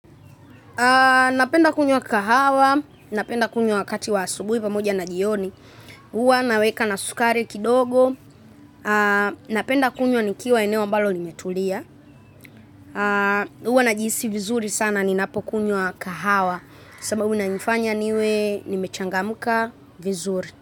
Napenda kunywa kahawa napenda kunywa wakati wa asubuhi pamoja na jioni huwa naweka na sukari kidogo. Napenda kunywa nikiwa eneo ambalo limetulia huwa najihisi vizuri sana ninapo kunywa kahawa. Sababu inaifanya niwe nimechangamka vizuri.